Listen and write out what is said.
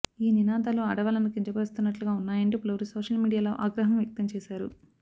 ఈ నినాదాలు ఆడవాళ్లను కించపరుస్తున్నట్లుగా ఉన్నాయంటూ పలువురు సోషల్ మీడియాలో ఆగ్రహం వ్యక్తం చేశారు